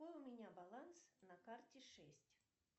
какой у меня баланс на карте шесть